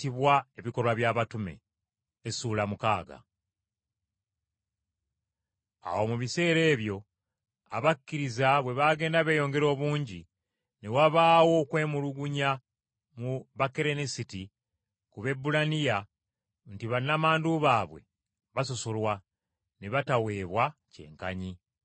Awo mu biseera ebyo abakkiriza bwe baagenda beeyongera obungi, ne wabaawo okwemulugunya mu Bakerenisiti ku Baebbulaniya nti bannamwandu baabwe basosolwa, ne bataweebwa kyenkanyi.